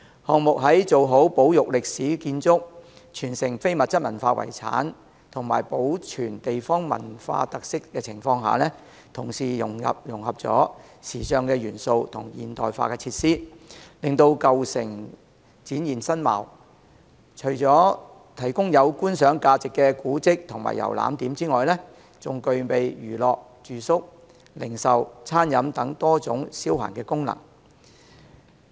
項目在做好保育歷史建築、傳承非物質文化遺產及保存地方文化特色的情況下，同時融合了時尚元素和現代化設施，令舊城展現新貌，除了提供具觀賞價值的古蹟和遊覽點外，還具備娛樂、住宿、零售、餐飲等多種消閒功能。